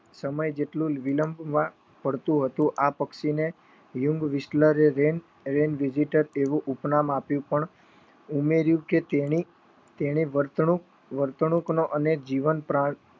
સમય જેટલું વિલંબ માં પડતું હતું આ પક્ષી ને વ્યૂન્ગ વિસલરે ડીઝીટલ એવું ઉપનામ નામ આપ્યું પણ ઉમેરીયું કે તેની તેને વર્તણુક અને જીવન